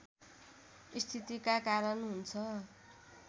स्थितिका कारण हुन्छ